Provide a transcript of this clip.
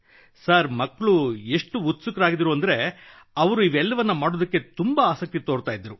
sir ಮಕ್ಕಳು ಎಷ್ಟು ಉತ್ಸುಕರಾಗಿದ್ದರು ಎಂದರೆ ಅವರು ಇವೆಲ್ಲವನ್ನು ಮಾಡಲು ಆಸಕ್ತಿ ತೋರುತ್ತಿದ್ದರು